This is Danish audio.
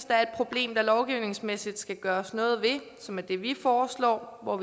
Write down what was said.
der er et problem der lovgivningsmæssigt skal gøres noget ved som er det vi foreslår og